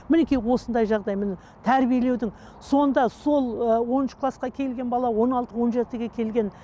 мінекей осындай жағдай міне тәрбиелеудің сонда сол ы оныншы класқа келген бала он алты он жетіге келген